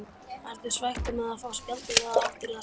Ertu svekktur með að fá spjaldið eða áttirðu það skilið?